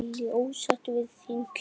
Lillý: Ósáttur við þín kjör?